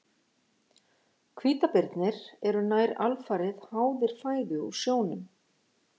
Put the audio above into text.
Hvítabirnir eru nær alfarið háðir fæðu úr sjónum.